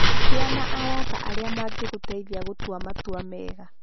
Gĩa na arata arĩa mangĩgũteithia gũtua matua mega.